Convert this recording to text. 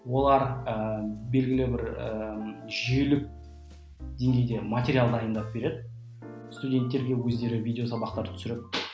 олар ы белгілі бір ы жүйелі деңгейде материал дайындап береді студенттерге өздері видео сабақтар түсіріп